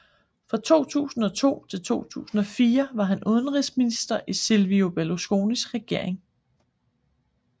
Fra 2002 til 2004 var han udenrigsminister i Silvio Berlusconis regering